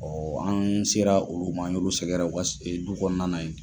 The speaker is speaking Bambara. Ɔ an sera olu ma, an ye olu sɛgɛrɛ u ka du kɔnɔna yen.